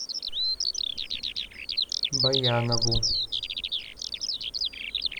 баянову